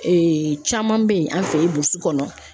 caman bɛ ye an fɛ ye burusi kɔnɔ